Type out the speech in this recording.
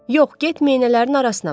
Yox, get meynələrin arasına bax.